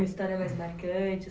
História mais marcante